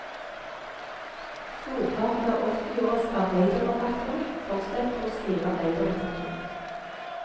Storparten av åttiåras arbeiderforfattere fortsetter å skrive arbeiderlitteratur.